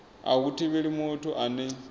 a hu thivheli muthu ane